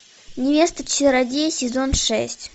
невеста чародея сезон шесть